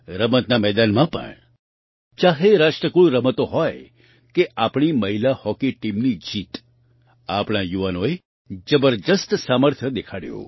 રમતના મેદાનમાં પણ ચાહે રાષ્ટ્રકુળ રમતો હોય કે આપણી મહિલા હોકી ટીમની જીત આપણા યુવાનોએ જબરદસ્ત સામર્થ્ય દેખાડ્યું